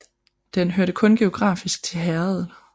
Den hørte kun geografisk til herredet